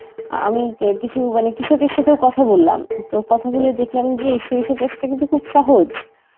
আমি কি~ কিছু মানে কৃষকের সাথেও কথা বললাম, তো কথা বলে দেখলাম যে সরিষা চাষটা কিন্তু খুব সহজ.